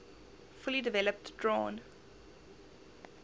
fully developed drawn